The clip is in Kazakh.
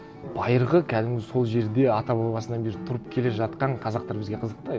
байырғы кәдімгі сол жерде ата бабасынан бері тұрып келе жатқан қазақтар бізге қызық та